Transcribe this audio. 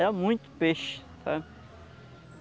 Era muito peixe, eh